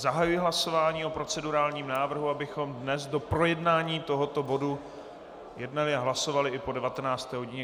Zahajuji hlasování o procedurálním návrhu, abychom dnes do projednání tohoto bodu jednali a hlasovali i po 19. hodině.